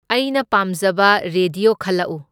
ꯑꯩꯅ ꯄꯥꯝꯖꯕ ꯔꯦꯗꯤꯌꯣ ꯈꯜꯂꯛꯎ꯫